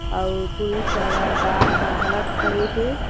अउ पुलिस वाला गॉर्ड ह घलाक खड़े हे ।